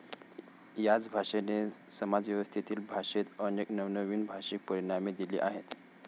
याच भाषेने समाजव्यवस्थेतील भाषेत अनेक नवनवीन भाषिक परिमाणे दिली आहेत.